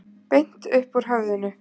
Beint upp úr höfðinu.